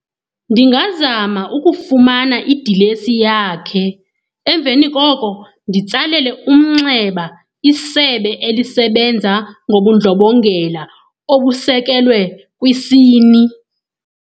Ndingazama ukufumana idilesi yakhe, emveni koko nditsalele umnxeba isebe elisebenza ngobundlobongela obusekelwe kwisini.